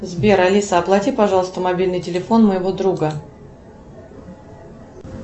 сбер алиса оплати пожалуйста мобильный телефон моего друга